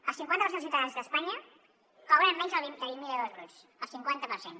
el cinquanta per cent dels ciutadans d’espanya cobren menys de vint mil euros bruts el cinquanta per cent